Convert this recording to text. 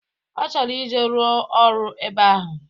Ọ chọrọ ije ruo ọrụ ebe ahụ